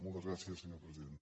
moltes gràcies senyor president